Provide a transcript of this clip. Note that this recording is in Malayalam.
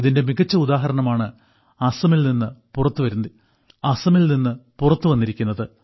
ഇതിന്റെ മികച്ച ഉദാഹരണമാണ് അസമിൽനിന്ന് പുറത്തുവന്നിരിക്കുന്നത്